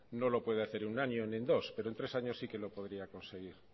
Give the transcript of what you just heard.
no lo puede hacer en un año ni en dos pero en tres años sí que lo podría conseguir